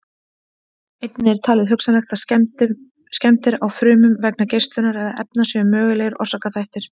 Einnig er talið hugsanlegt að skemmdir á frumum vegna geislunar eða efna séu mögulegir orsakaþættir.